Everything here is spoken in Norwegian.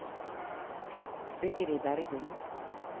Sigrid Bergum